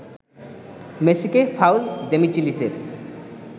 মেসিকে ফাউল দেমিচেলিসের